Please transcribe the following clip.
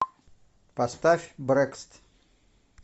поставь брэкст